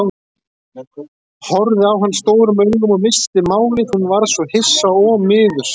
Horfði á hann stórum augum og missti málið, hún varð svo hissa og miður sín.